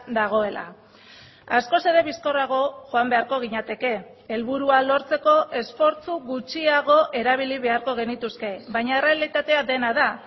dagoela askoz ere bizkorrago joan beharko ginateke helburua lortzeko esfortzu gutxiago erabili beharko genituzke baina errealitatea dena da